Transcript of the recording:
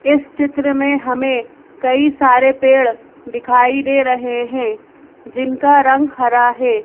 इस चित्र में हमें कई सारे पेड़ दिखाई दे रहे हैं जिनका रंग हरा है।